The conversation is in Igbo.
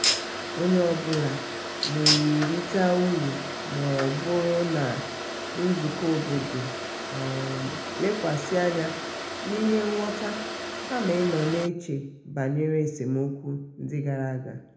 onye ọ bụla na-erite uru ma ọ bụrụ na nzukọ obodo um lekwasi anya n'ihe ngwọta kama ịnọ na-eche banyere esemokwu ndị gara aga.